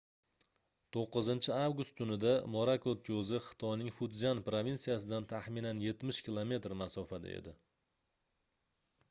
9-avgust tunida morakot koʻzi xitoyning futzyan provinsiyasidan taxminan yetmish kilometr masofada edi